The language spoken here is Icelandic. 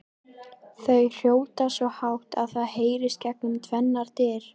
Þau hrjóta svo hátt að það heyrist gegnum tvennar dyr!